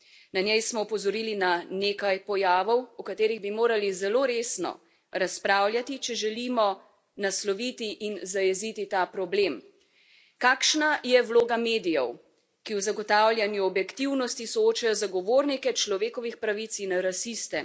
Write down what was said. Na njej smo opozorili na nekaj pojavov, o katerih bi morali zelo resno razpravljati, če želimo nasloviti in zajeziti ta problem Kakšna je vloga medijev, ki v zagotavljanju objektivnosti soočajo zagovornike človekovih pravic in rasiste?